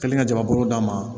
Kelen ka jamakulu d'a ma